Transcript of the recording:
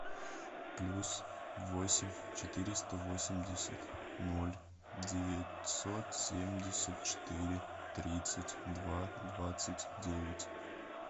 плюс восемь четыреста восемьдесят ноль девятьсот семьдесят четыре тридцать два двадцать девять